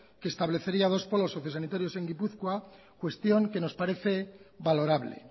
que establecería dos polos sociosanitarios en gipuzkoa cuestión que nos parece valorable